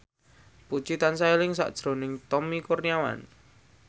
Puji tansah eling sakjroning Tommy Kurniawan